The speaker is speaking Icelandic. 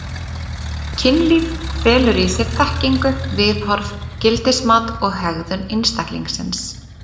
Kynlíf felur í sér þekkingu, viðhorf, gildismat og hegðun einstaklingsins.